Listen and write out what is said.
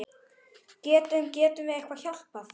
Getum, getum við eitthvað hjálpað?